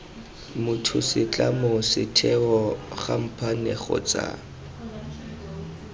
motho setlamo setheo khamphane kgotsa